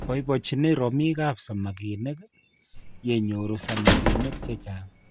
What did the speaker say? Boibochini romikap samakinik yenyoru samakinik chichang.